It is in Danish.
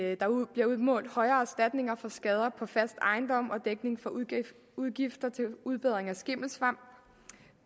at der bliver udmålt højere erstatninger for skader på fast ejendom og dækning for udgifter til udbedring